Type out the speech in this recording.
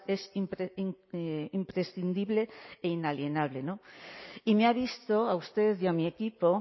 es imprescindible e inalienable y me ha visto a usted y a mi equipo